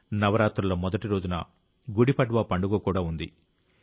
నవరాత్రుల మొదటి రోజున గుడి పడ్వా పండుగ కూడా ఉంది